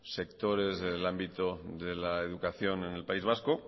sectores del ámbito de la educación en el país vasco